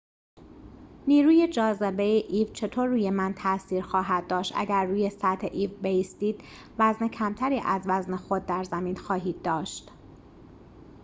نیروی جاذبه ایو چطور روی من تاثیر خواهد داشت اگر روی سطح ایو بایستید وزن کمتری از وزن خود در زمین خواهید داشت